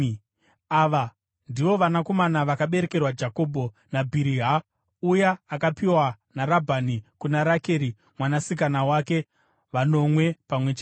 Ava ndivo vanakomana vakaberekerwa Jakobho naBhiriha, uya akapiwa naRabhani kuna Rakeri mwanasikana wake, vanomwe pamwe chete.